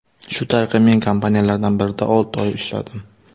Shu tariqa men kompaniyalardan birida olti oy ishladim.